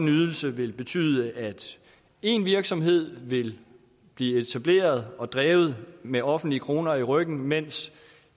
ydelse vil betyde at en virksomhed vil blive etableret og drevet med offentlige kroner i ryggen mens